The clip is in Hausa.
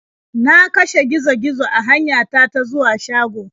Na kashe gizo -gizo a hanyata ta zuwa shago.